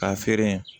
K'a feere